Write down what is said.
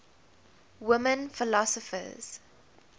women philosophers